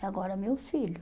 E agora meu filho?